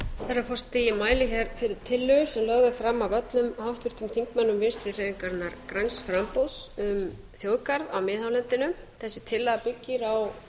herra forseti ég mæli fyrir tillögu sem lögð er fram af öllum háttvirtum þingmönnum vinstri hreyfingarinnar græns framboðs um þjóðgarð á miðhálendinu þessi tillaga byggir á